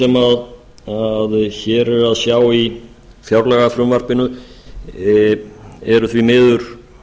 sem hér er að sjá í fjárlagafrumvarpinu eru því miður